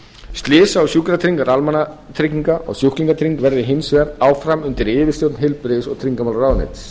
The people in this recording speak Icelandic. slysa og sjúkratryggingar almannatrygginga og sjúklingatrygging verði hins vegar áfram undir yfirstjórn heilbrigðis og tryggingamálaráðuneytisins